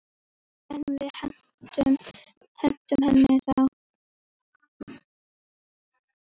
En við hentum henni þá.